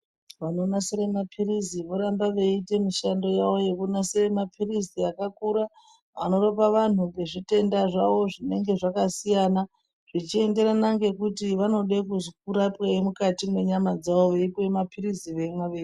Vanonasira mapirizi vorambe veyite mishando yavo yekunasira mapirizi akakura anorapa vandu zvitenda zvavo zvinenge zvakasiyana zvichienderana ngekuti vanode kurapweyi mukati mwenyama dzavo yeipuwa mapirizi veimwa.